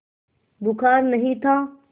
बुखार नहीं था